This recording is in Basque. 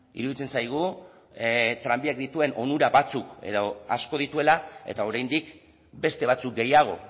iruditzen zaigu tranbiak dituen onura batzuk edo asko dituela eta oraindik beste batzuk gehiago